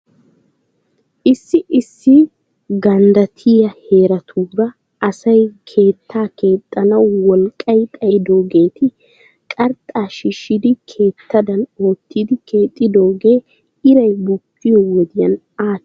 Issi issi ganddattiyaa heeratuura asay keettaa keexxanaw wolqqay xayidoogeeti qarxxaa shiishidi keettadan oottidi keexxidoogee iray bukkiyoo wodiyan aati aattidi aykeenaa metootissiishsha?